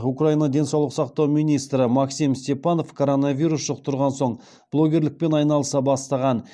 украина денсаулық сақтау министрі максим степанов коронавирус жұқтырған соң блогерлікпен айналыса бастаған